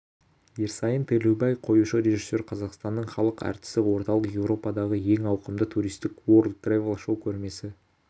ерсайын төлеубай қоюшы режиссер қазақстанның халық әртісі орталық еуропадағы ең ауқымды туристік уорлд трэвел шоу көрмесі